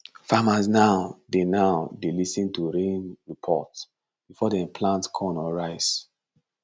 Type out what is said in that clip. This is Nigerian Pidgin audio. farmers now dey now dey lis ten to radio rain report before dem plant corn or rice